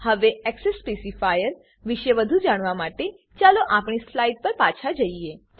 હવે એક્સેસ સ્પેસીફાયરો વિશે વધુ જાણવા માટે ચાલો આપણી સ્લાઈડ પર પાછા જઈએ